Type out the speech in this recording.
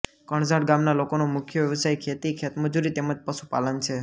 કણઝટ ગામના લોકોનો મુખ્ય વ્યવસાય ખેતી ખેતમજૂરી તેમ જ પશુપાલન છે